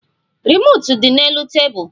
Remootu di n'elu tebụl